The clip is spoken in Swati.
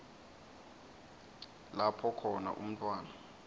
lapho khona umntfwana